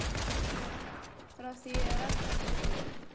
Jóhann: Frá því að Ragnar tók við?